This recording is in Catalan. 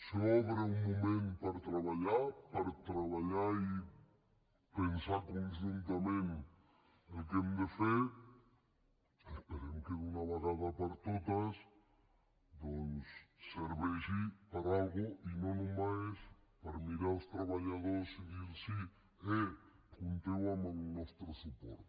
s’obre un moment per treballar per treballar i pensar conjuntament el que hem de fer esperem que d’una vegada per totes doncs serveixi per a alguna cosa i no només per mirar els treballadors i dir los eh compteu amb el nostre suport